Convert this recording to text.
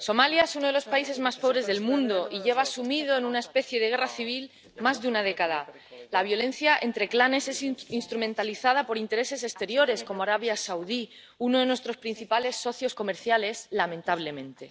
Señor presidente, señora Mogherini, Somalia es uno de los países más pobres del mundo y lleva sumido en una especie de guerra civil más de una década. La violencia entre clanes es instrumentalizada por intereses exteriores, como Arabia Saudí, uno de nuestros principales socios comerciales, lamentablemente.